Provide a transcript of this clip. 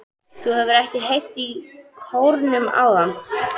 Þú hefur ekki heyrt í kórnum áðan?